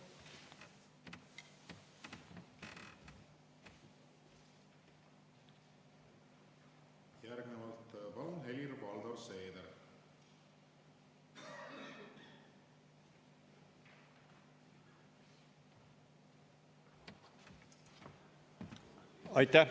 Järgnevalt palun, Helir-Valdor Seeder!